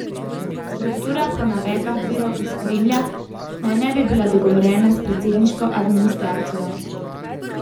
Struktura po navedbah virov iz Kremlja naj ne bi bila dogovorjena s predsedniško administracijo.